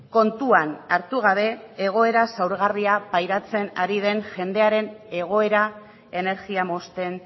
kontuan hartu gabe egoera zaurgarria pairatzen ari den jendearen egoera energia mozten